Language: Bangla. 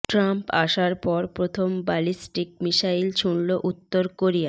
ট্রাম্প আসার পর প্রথম ব্যালিস্টিক মিসাইল ছুড়ল উত্তর কোরিয়া